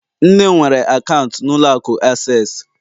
nne m nwere akaụntụ na ụlọ akụ Accessi